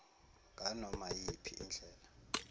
nganoma iyiphi indlela